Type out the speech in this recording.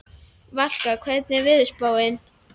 Valka, hvernig er veðurspáin?